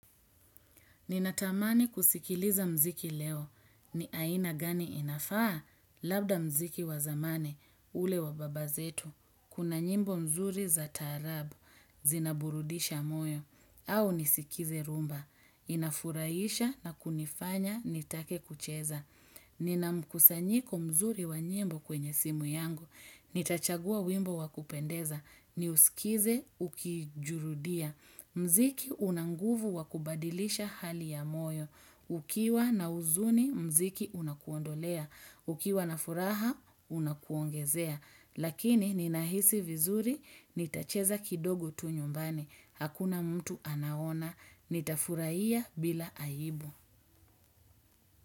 Ninatamani kusikiliza mziki leo. Ni aina gani inafaa? Labda mziki wa zamani, ule wa baba zetu. Kuna nyimbo mzuri za taarabu, zinaburudisha moyo, au nisikize rumba. Inafuraisha na kunifanya nitake kucheza. Nina mkusanyiko mzuri wa nyimbo kwenye simu yangu. Nitachagua wimbo wa kupendeza. Niusikize, ukijurudia. Mziki unanguvu wakubadilisha hali ya moyo. Ukiwa na uzuni, mziki unakuondolea. Ukiwa na furaha, unakuongezea. Lakini ninahisi vizuri, nitacheza kidogo tu nyumbani. Hakuna mtu anaona. Nitafuraia bila aibu.